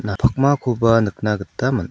ia pakmakoba nikna gita man·a--